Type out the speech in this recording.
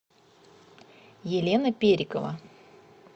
елена перикова